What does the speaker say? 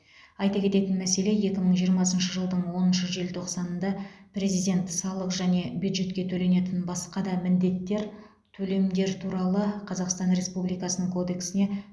айта кететін мәселе екі мың жиырмасыншы жылдың оныншы желтоқсанында президент салық және бюджетке төленетін басқа да міндеттер төлемдер туралы қазақстан республикасының кодексіне